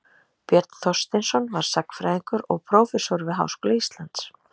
björn þorsteinsson var sagnfræðingur og prófessor við háskóla íslands